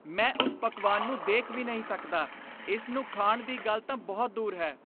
ਮੈਂ ਉਸ ਪਕਵਾਨ ਨੂੰ ਦੇਖ ਵੀ ਨਹੀਂ ਸਕਦਾ, ਇਸ ਨੂੰ ਖਾਣ ਦੀ ਗੱਲ ਤਾਂ ਬਹੁਤ ਦੂਰ ਹੈ।